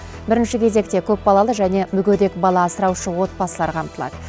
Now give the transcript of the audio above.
бірінші кезекте көпбалалы және мүгедек бала асыраушы отбасылар қамтылады